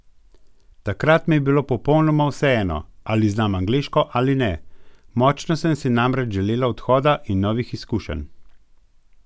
Takrat mi je bilo popolnoma vseeno, ali znam angleško ali ne, močno sem si namreč želela odhoda in novih izkušenj!